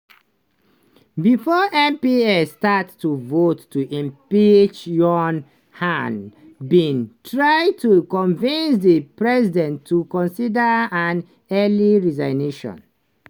before mps start to vote to impeach yoon han bin try to convince di president to consider an "early resignation".